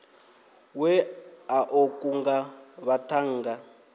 we a ḓo kunga vhaṱhannga